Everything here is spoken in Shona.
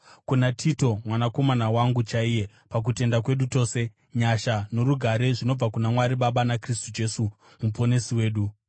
kuna Tito, mwanakomana wangu chaiye pakutenda kwedu tose: Nyasha norugare zvinobva kuna Mwari Baba naKristu Jesu Muponesi wedu.